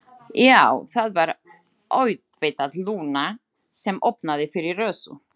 Já, það var auðvitað Lúna sem opnaði fyrir Rósu.